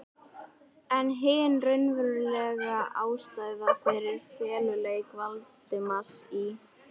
En hin raunverulega ástæða fyrir feluleik Valdimars í